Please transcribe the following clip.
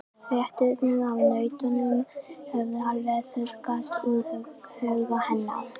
Fréttirnar af nautunum höfðu alveg þurrkast úr huga hennar.